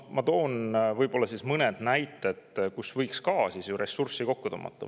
Ma toon mõned näited, kust võiks ka ressurssi kokku tõmmata.